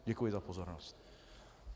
Děkuji za pozornost.